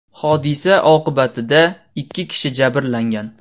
Hodisa oqibatida ikki kishi jabrlangan.